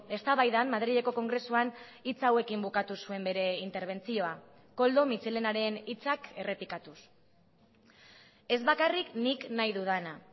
eztabaidan madrileko kongresuan hitz hauekin bukatu zuen bere interbentzioa koldo mitxelenaren hitzak errepikatuz ez bakarrik nik nahi dudana